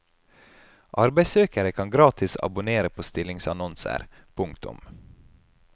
Arbeidssøkere kan gratis abonnere på stillingsannonser. punktum